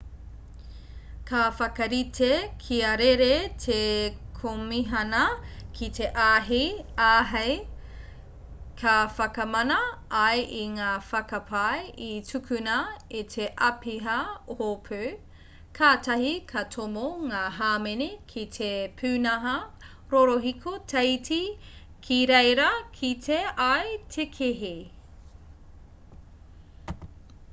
ka whakarite kia rere te komihana ki te āhei ka whakamana ai i ngā whakapae i tūkuna e te āpiha hopu katahi ka tomo ngā hāmene ki te pūnaha rorohiko teiti ki reira kite ai te kēhi